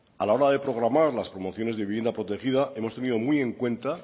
a la hora de programar las promociones de vivienda protegida hemos tenido muy en cuenta